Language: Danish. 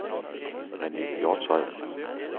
Rene' Hjortshøj